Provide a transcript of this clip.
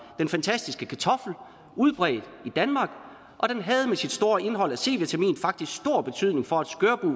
den fantastiske kartoffel udbredt i danmark og den havde med sit store indhold af c vitamin faktisk stor betydning for